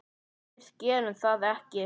Við gerðum það ekki.